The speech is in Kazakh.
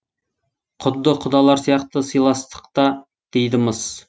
құдды құдалар сияқты сыйластықта дейді мыс